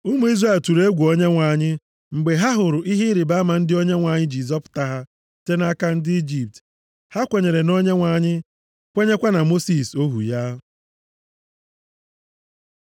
Ụmụ Izrel tụrụ egwu Onyenwe anyị mgbe ha hụrụ ihe ịrịbama ndị a Onyenwe anyị ji zọpụta ha site nʼaka ndị Ijipt. Ha kwenyere na Onyenwe anyị, kwenyekwa na Mosis ohu ya.